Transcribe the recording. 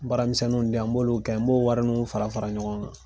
Baaramisɛnninw di yan n b'olu kɛ n b'o warininw fara fara ɲɔgɔn kan.